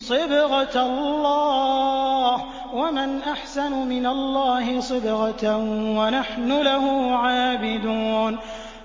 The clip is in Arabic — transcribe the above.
صِبْغَةَ اللَّهِ ۖ وَمَنْ أَحْسَنُ مِنَ اللَّهِ صِبْغَةً ۖ وَنَحْنُ لَهُ عَابِدُونَ